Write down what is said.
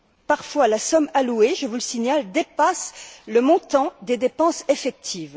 Parfois, la somme allouée, je vous le signale, dépasse le montant des dépenses effectives.